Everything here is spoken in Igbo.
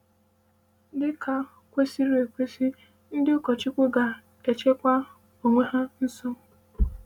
Dị ka kwesịrị ekwesị, ndị ụkọchukwu ga - echekwa onwe ha nsọ.